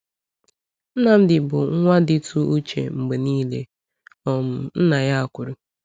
“Nnamdi bụ nwa dịtụ uche mgbe niile,” um nna ya kwuru.